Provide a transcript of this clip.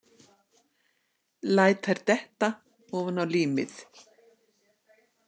Læt þær detta ofaná límið.